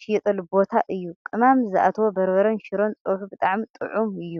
ዝሽየጠሉ ቦታ እዩ። ቅመም ዝኣተዎ በርበረን ሽሮን ፀብሑ ብጣዕሚ ጡዑም እዩ።